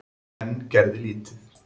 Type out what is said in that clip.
En gerði lítið.